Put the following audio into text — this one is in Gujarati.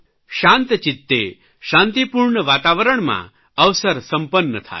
શાંતચિત્તે શાંતિપૂર્ણ વાતાવરણમાં અવસર સંપન્ન થાય